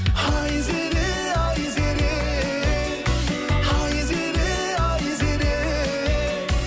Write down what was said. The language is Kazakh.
айзере айзере айзере айзере